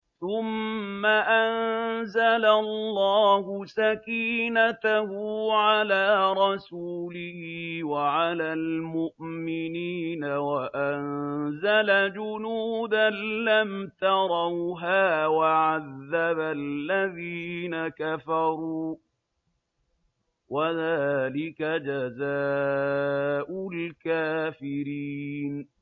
ثُمَّ أَنزَلَ اللَّهُ سَكِينَتَهُ عَلَىٰ رَسُولِهِ وَعَلَى الْمُؤْمِنِينَ وَأَنزَلَ جُنُودًا لَّمْ تَرَوْهَا وَعَذَّبَ الَّذِينَ كَفَرُوا ۚ وَذَٰلِكَ جَزَاءُ الْكَافِرِينَ